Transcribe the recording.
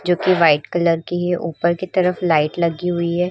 जो कि white colour की है। ऊपर की तरफ लाइट लगी हुई है।